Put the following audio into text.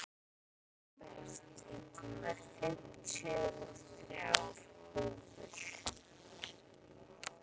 Norbert, ég kom með fimmtíu og þrjár húfur!